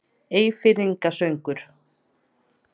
Eyfirðinga sögur.